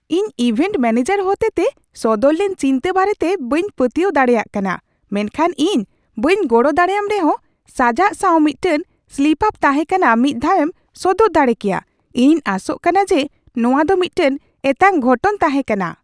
ᱤᱧ event manager ᱦᱚᱛᱮᱛᱮ ᱥᱚᱫᱚᱨ ᱞᱮᱱ ᱪᱤᱱᱛᱟᱹ ᱵᱟᱨᱮᱛᱮ ᱵᱟᱹᱧ ᱯᱟᱹᱛᱭᱟᱹᱣ ᱫᱟᱲᱮᱭᱟᱜ ᱠᱟᱱᱟ, ᱢᱮᱱᱠᱷᱟᱱ ᱤᱧ ᱵᱟᱹᱧ ᱜᱚᱲᱚ ᱫᱟᱲᱮᱭᱟᱢ ᱨᱮᱦᱚᱸ ᱥᱟᱡᱟᱜ ᱥᱟᱶ ᱢᱤᱫᱴᱟᱝ ᱥᱞᱤᱯᱼᱟᱯ ᱛᱟᱦᱮᱸ ᱠᱟᱱᱟ ᱢᱤᱫ ᱫᱷᱟᱣᱮᱢ ᱥᱚᱫᱚᱨ ᱫᱟᱲᱮ ᱠᱮᱭᱟ ᱾ ᱤᱧᱤᱧ ᱟᱸᱥᱚᱜ ᱠᱟᱱᱟ ᱡᱮ ᱱᱚᱶᱟ ᱫᱚ ᱢᱤᱫᱴᱟᱝ ᱮᱛᱟᱝ ᱜᱷᱚᱴᱚᱱ ᱛᱟᱦᱮᱸ ᱠᱟᱱᱟ ᱾